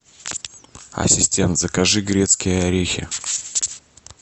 ассистент закажи грецкие орехи